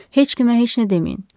Heç kimə heç nə deməyin.